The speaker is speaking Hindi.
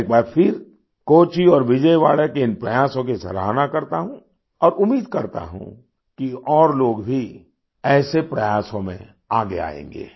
मैं एक बार फिर कोच्चि और विजयवाड़ा के इन प्रयासों की सराहना करता हूँ और उम्मीद करता हूँ कि और लोग भी ऐसे प्रयासों में आगे आएंगे